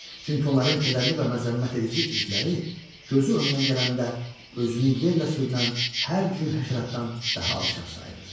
Çünki onların kədərli və məzəmmətedici üzləri gözü önünə gələndə özünü yerlə sürünən hər cür həşəratdan daha alçaq sayırdı.